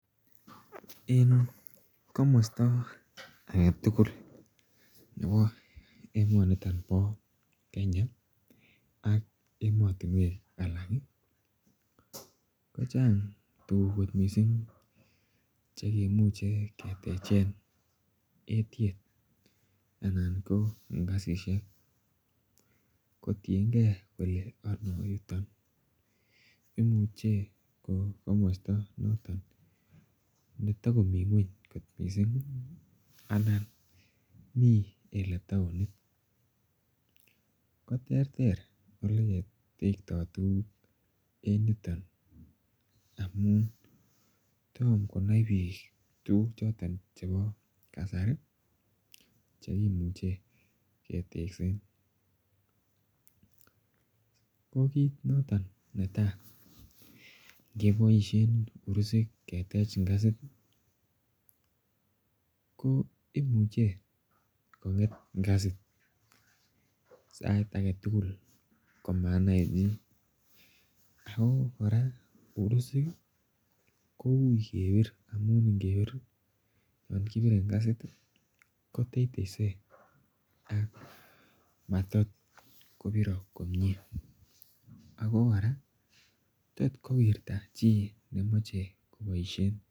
En kamasto agetugul en memonito ba Kenya ih , kochang tuguk missing cheketegen etiet anan ko ingasisiek, kotienge kole ano yuton. Imuche ko kamosta netogomi ng'uany missing Anan mi eletaonit, ko terter oleke tech ta tuguk. En yuton amuun tomakonai bik tuguk choton en kasari chekimuche aketeksen, ko kit noton netai , ingeboisien urusik ketech ingasit ih , ko imuche kong'em ingasit , sait agetugul komanai chi, ako kora urusik ih , koui kebir amuun ingebor ih koteiteise ak , matot kobirok komie.